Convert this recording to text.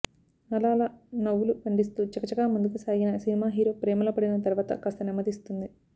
అలా అలా నవ్వులు పండిస్తూ చకచకా ముందుకు సాగిన సినిమా హీరో ప్రేమలో పడిన తరువాత కాస్త నెమ్మదిస్తుంది